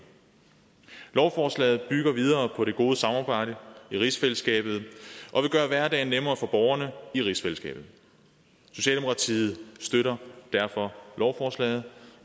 lovforslaget bygger videre på det gode samarbejde i rigsfællesskabet og vil gøre hverdagen nemmere for borgerne i rigsfællesskabet socialdemokratiet støtter derfor lovforslaget